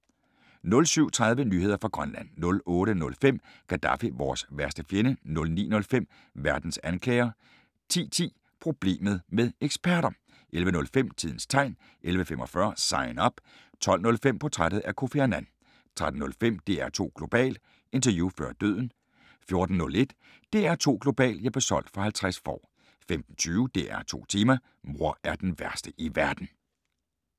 07:30: Nyheder fra Grønland 08:05: Gadaffi - vores værste fjende 09:05: Verdens anklager 10:10: Problemet med eksperter! 11:05: Tidens Tegn 11:45: Sign Up 12:05: Portræt af Kofi Annan 13:05: DR2 Global: Interview før døden 14:01: DR2 Global: Jeg blev solgt for 50 får 15:20: DR2 Tema: Mor er den værste i verden